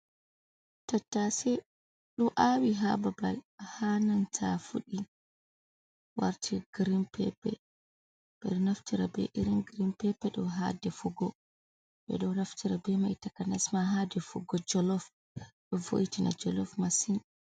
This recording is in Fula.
Tattasei ɗo awi ha babal ha nanta fuɗi warti girin pepe. Ɓeɗo naftira be irin girin pepe ɗo ha defugo, ɓeɗo naftira be mai takanas ma ha defugo jolof. Ɗo voitina jolof masin.